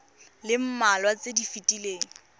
le mmalwa tse di fetileng